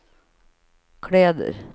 kläder